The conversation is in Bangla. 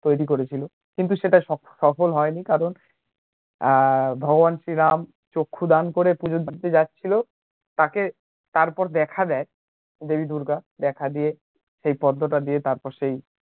তৈরি করেছিল, কিন্তু সেটা সফল হয়নি কারণ ভগবান শ্রী রাম চক্ষুদান করে পুজো দিতে যাচ্ছিলো তাকে তারপর দেখা দেয় দেবী দূর্গা দেখা দিয়ে সেই পদ্মোটা দিয়ে তারপর সেই